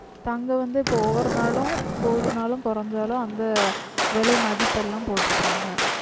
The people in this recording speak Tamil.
தங்கம் வந்து இப்ப ஒவ்வொரு நாளும் கூடுனாலும் குறைஞ்சாலும் அந்த விலை மதிப்பெல்லாம் போட்டிருப்பாங்க